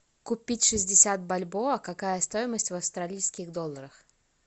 купить шестьдесят бальбоа какая стоимость в австралийских долларах